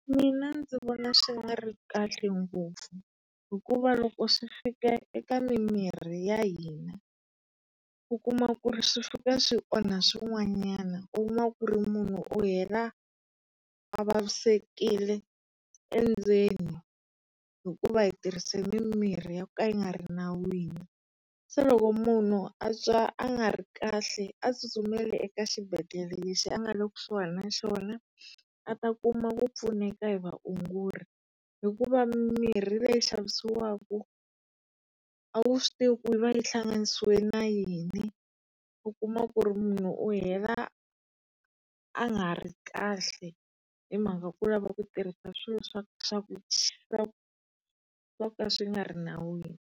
Mina ndzi vona swi nga ri kahle ngopfu hikuva loko swi fika eka mi miri ya hina, u kuma ku ri sWi-Fika swi onha swin'wanyana. U kuma ku ri munhu yena a vavisekile endzeni hikuva hi tirhise mimirhi yo ka yi nga ri nawini. Se loko munhu a twa a nga ri kahle a tsutsumeli eka xibedhlele lexi a nga le kusuhana na xona, a ta kuma ku pfuneta hi vaongori hikuva mimirhi leyi xavisiwaka, a wu swi tivi ku yi va yi hlanganisiwe na yini. U kuma ku ri munhu u hela a nga ha ri kahle hi mhaka ku lava ku tirhisa swilo swa swo ka swi nga ri nawini.